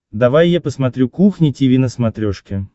давай я посмотрю кухня тиви на смотрешке